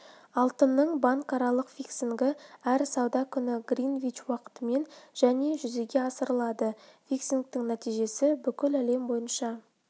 алтынның банкаралық фиксингі әр сауда күні гринвич уақытымен және жүзеге асырылады фиксингтің нәтижесі бүкіл әлем бойынша